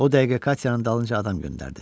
O dəqiqə Katyanın dalınca adam göndərdi.